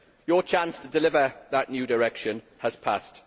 Your chance to deliver that new direction has passed.